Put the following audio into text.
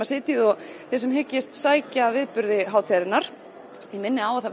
sitjið og þið sem hyggist sækja viðburði hátíðarinnar ég minni á að